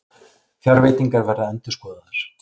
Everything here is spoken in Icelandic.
Fjárveitingar verða endurskoðaðar